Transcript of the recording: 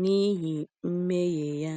n’ihi mmehie ya.